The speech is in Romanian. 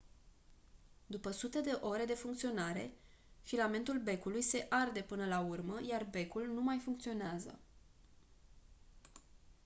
după sute de ore de funcționare filamentul becului se arde până la urmă iar becul nu mai funcționează